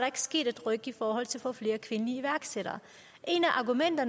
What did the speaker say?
ikke sket et ryk i forhold til at få flere kvindelige iværksættere